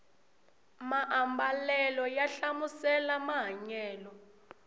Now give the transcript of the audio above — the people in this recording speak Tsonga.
maambalela ya hlamusela mahanyelo